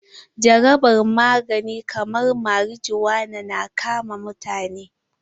Jarabar magani kaman marijuana na kama mutane.